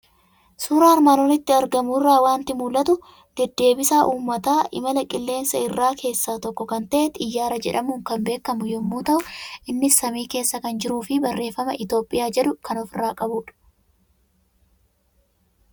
Suuraa armaan olitti argamu irraa waanti mul'atu; deddeebisaa uummataa imala qilleensa irraa keessa tokko kan ta'e, Xiyaaraa jedhamuun kan beekamu yommuu ta'u innis samii keessa kan jirufi barreeffama Itoophiyaa jedhu kan ofirra qabudha.